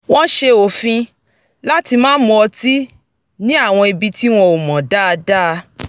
wọ́n s̩e òfin láti má mu ọtí ní àwọn ibi tí wọn ò mọ̀ dáadáa